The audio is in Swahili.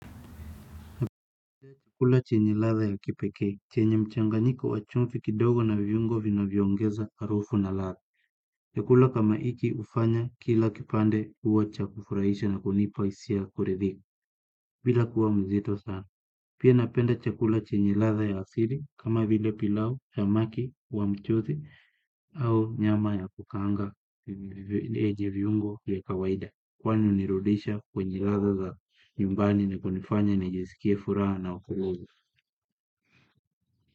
Napenda chakula chenye ladha ya kipekee, chenye mchanganyiko wa chumvi kidogo na viungo vinavyoongeza harufu na ladha. Chakula kama hiki hufanya kila kipande kuwa cha kufurahisha na kunipa hisia ya kuridhika, bila kuwa mzito sana. Pia napenda chakula chenye ladha ya asili kama vile pilau, samaki, wa mchuzi au nyama ya kukaanga ije viungo vya kawaida. Kwani hunirudisha kwenye ladha za nyumbani na kunifanya nijisikie furaha na utilivu.